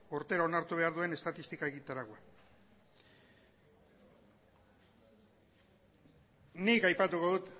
urtero onartu behar duen estatistika egitaraua nik aipatuko dut